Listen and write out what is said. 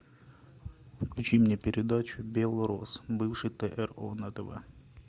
включи мне передачу белрос бывший тро на тв